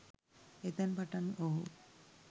එතැන් පටන් ඔහු